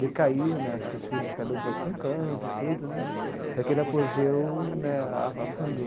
Decaiu né, acho que os filhos, cada um foi para um canto e tudo né, até que ele apogeu né, afundou.